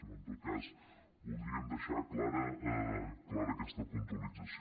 però en tot cas voldríem deixar clara aquesta puntualització